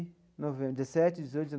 Novembro dezessete dezoito